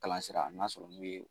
Kalansira n'a sɔrɔ n'u ye